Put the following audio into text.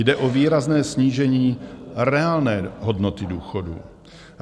Jde o výrazné snížení reálné hodnoty důchodů.